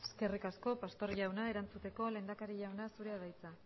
eskerrik asko pastor jauna erantzuteko lehendakari jauna zurea da hitza